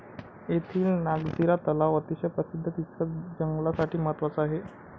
येथील नागझिरा तलाव अतिशय प्रसिद्ध तितकाच जंगलासाठी महत्वाचा आहे.